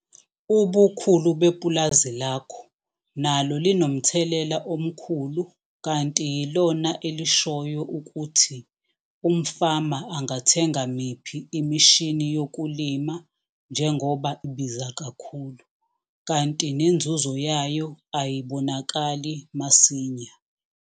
Ubukhulu bepulazi lakho nalo linomthelela omkhulu kanti yilona elishoyo ukuthi umfama angathenga miphi imishini yokulima njengoba ibiza kakhulu, kanti nenzuzo yayo ayibonakali masinya.